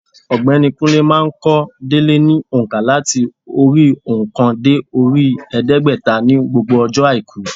Ọ̀gbẹ́ni Kúnlé má a n kó délé ní ònkà láti orí óòkan dé orí èédégbèta ní gbogbo ọjọ́ àìkú